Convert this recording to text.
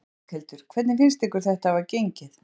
Berghildur: Hvernig finnst ykkur þetta hafa gengið?